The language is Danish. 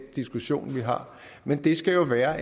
diskussion vi har men det skal jo være